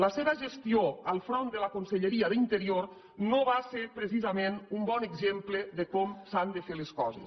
la seva gestió al front de la conselleria d’interior no va ser precisament un bon exemple de com s’han de fer les coses